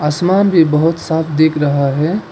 आसमान भी बहोत साफ दिख रहा है।